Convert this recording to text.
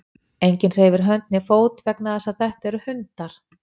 enginn hreyfir hönd né fót vegna þess að þetta eru hundar